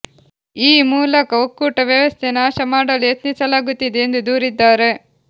ಈ ಮೂಲಕ ಒಕ್ಕೂಟ ವ್ಯವಸ್ಥೆ ನಾಶ ಮಾಡಲು ಯತ್ನಿಸಲಾಗುತ್ತಿದೆ ಎಂದು ದೂರಿದ್ದಾರೆ